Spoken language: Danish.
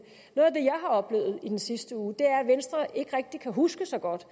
jeg har oplevet i den sidste uge er at venstre ikke rigtig kan huske så godt